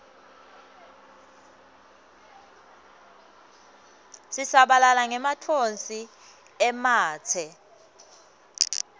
sisabalala ngematfonsi ematse